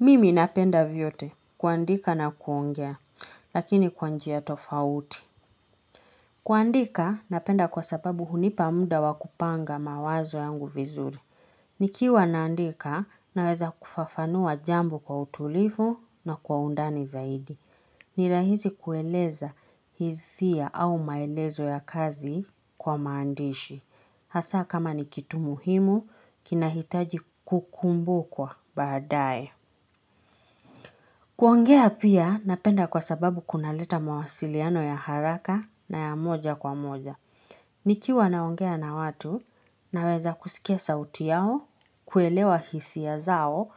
Mimi napenda vyote kuandika na kuongea, lakini kwa njia tofauti. Kuandika napenda kwa sababu hunipa muda wa kupanga mawazo yangu vizuri. Nikiwa naandika naweza kufafanua jambo kwa utulivu na kwa undani zaidi. Ni rahisi kueleza hisia au maelezo ya kazi kwa maandishi. Hasa kama ni kitu muhimu, kinahitaji kukumbukwa baadaye. Kuongea pia napenda kwa sababu kunaleta mawasiliano ya haraka na ya moja kwa moja. Nikiwa naongea na watu naweza kusikia sauti yao, kuelewa hisia zao